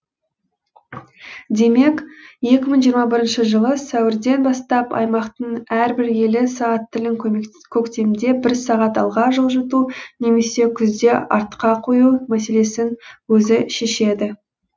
демек екі мың жиырма бірінші жылы сәуірден бастап аймақтың әрбір елі сағат тілін көктемде бір сағат алға жылжыту немесе күзде артқа қою мәселесін өзі шешеді